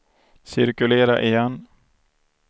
cirkulera igen